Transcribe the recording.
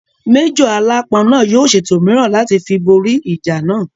Májọ̀ aláápọn náà yóò ṣètò mìíràn láti fi bóri ìjà náà